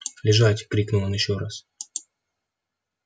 лежать крикнул он ещё раз